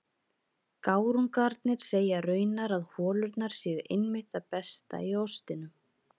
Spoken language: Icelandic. Gárungarnir segja raunar að holurnar séu einmitt það besta í ostinum.